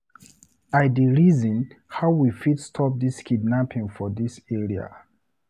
I dey reason how we fit stop dis kidnapping for dis area.